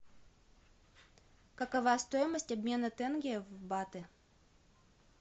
какова стоимость обмена тенге в баты